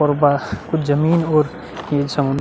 और बस कुछ जमीन और ये समून --